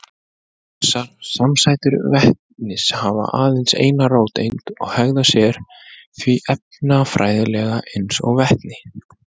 Þessar samsætur vetnis hafa aðeins eina róteind og hegða sér því efnafræðilega eins og vetni.